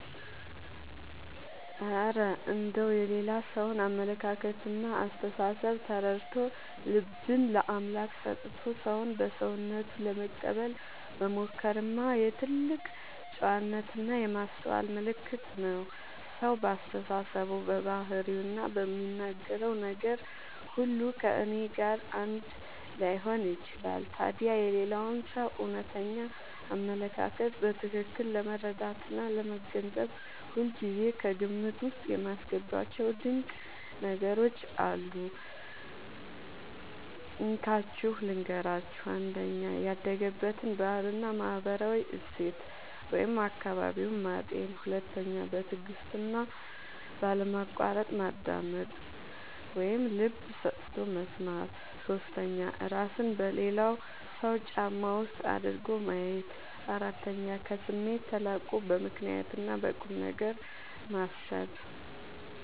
እረ እንደው የሌላ ሰውን አመለካከትና አስተሳሰብ ተረድቶ፣ ልብን ለአምላክ ሰጥቶ ሰውን በሰውነቱ ለመቀበል መሞከርማ የትልቅ ጨዋነትና የማስተዋል ምልክት ነው! ሰው በአስተሳሰቡ፣ በባህሪውና በሚናገረው ነገር ሁሉ ከእኔ ጋር አንድ ላይሆን ይችላል። ታዲያ የሌላውን ሰው እውነተኛ አመለካከት በትክክል ለመረዳትና ለመገንዘብ ሁልጊዜ ከግምት ውስጥ የማስገባቸው ድንቅ ነገሮች አሉ፤ እንካችሁ ልንገራችሁ - 1. ያደገበትን ባህልና ማህበራዊ እሴት (አካባቢውን) ማጤን 2. በትዕግስትና ባለማቋረጥ ማዳመጥ (ልብ ሰጥቶ መስማት) 3. እራስን በሌላው ሰው ጫማ ውስጥ አድርጎ ማየት 4. ከስሜት ተላቆ በምክንያትና በቁምነገር ማሰብ